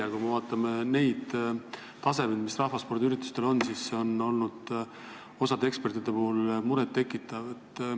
Aga kui me vaatame rahvaspordiürituste taset, siis see on osa ekspertide arvates muret tekitav.